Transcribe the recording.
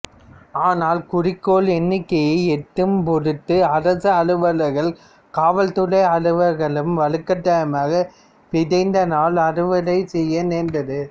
ஆனால் குறிக்கோள் எண்ணிக்கையை எட்டும்பொருட்டு அரசு அலுவலர்களும் காவல்துறை அலுவலர்களும் வலுக்கட்டாயமாக விதைநாள அறுவை செய்ய நேர்ந்தது